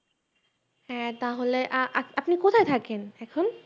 হ্যাঁ তাহলে আহ আহ আপনি কোথায় থাকেনএখন